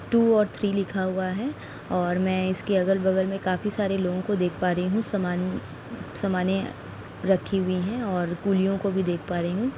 To और three लिखा हुआ है और मैं इसके अगल बगल में काफी सारे लोगों को देख पा रही हूँ | सामान रखी हुई हैं और कूलियों को भी देख पा रही हूँ ।